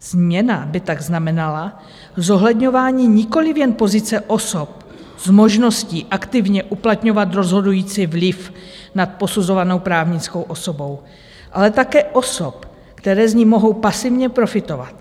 Změna by tak znamenala zohledňování nikoliv jen pozice osob s možností aktivně uplatňovat rozhodující vliv nad posuzovanou právnickou osobou, ale také osob, které z ní mohou pasivně profitovat.